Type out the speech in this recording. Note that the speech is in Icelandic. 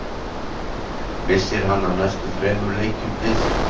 Missir hann af næstu þremur leikjum liðsins.